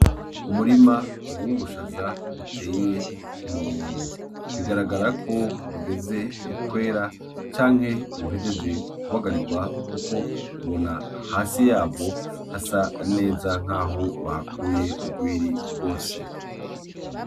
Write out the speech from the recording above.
Umurima w'ubushaza uteye ku murongo bigaragara ko ugeze kwera canke uhejeje kubagarigwa kuko ubona hasi yaho hasa neza nkaho bahakuye ugwiri gwose.